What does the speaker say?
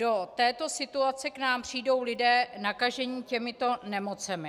Do této situace k nám přijdou lidé, nakažení těmito nemocemi.